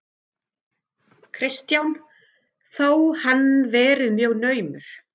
Kristján: Þó hann verið mjög naumur?